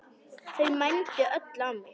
Þau mændu öll á mig.